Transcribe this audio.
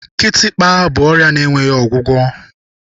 Kitikpa bụ ọrịa enweghị ọgwụgwọ.